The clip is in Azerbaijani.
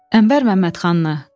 Ənvər Məmmədxanlı.